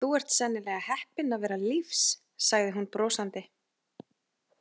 Þú ert sennilega heppinn að vera lífs, sagði hún brosandi.